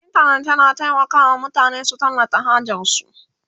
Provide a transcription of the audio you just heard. intanet yana taimaka wa mutane su tallata hajarsu